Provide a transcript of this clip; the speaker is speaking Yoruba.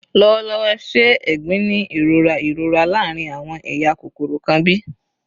Lọwọlọwọ, ṣe "egbin" ni irora irora laarin awọn eya kokoro kan bi?